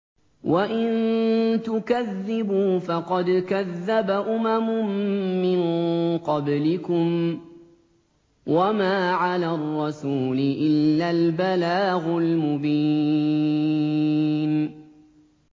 وَإِن تُكَذِّبُوا فَقَدْ كَذَّبَ أُمَمٌ مِّن قَبْلِكُمْ ۖ وَمَا عَلَى الرَّسُولِ إِلَّا الْبَلَاغُ الْمُبِينُ